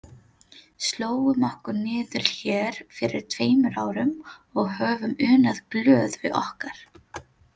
Slógum okkur niður hér fyrir tveimur árum og höfum unað glöð við okkar.